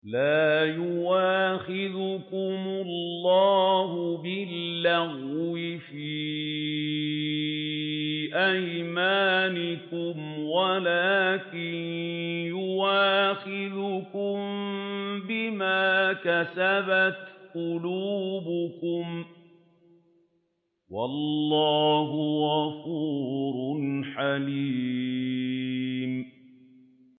لَّا يُؤَاخِذُكُمُ اللَّهُ بِاللَّغْوِ فِي أَيْمَانِكُمْ وَلَٰكِن يُؤَاخِذُكُم بِمَا كَسَبَتْ قُلُوبُكُمْ ۗ وَاللَّهُ غَفُورٌ حَلِيمٌ